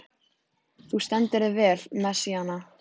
Þú stendur þig vel, Messíana!